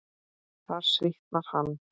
Þar svitnar hann.